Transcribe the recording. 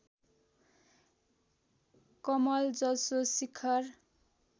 कमल जसो शिखर